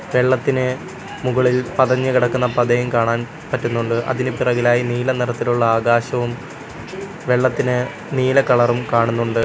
വെള്ളത്തിന് മുകളിൽ പതഞ്ഞു കിടക്കുന്ന പതയും കാണാൻ പറ്റുന്നുണ്ട് അതിനു പിറകിലായി നീല നിറത്തിലുള്ള ആകാശവും വെള്ളത്തിന് നീല കളറും കാണുന്നുണ്ട്.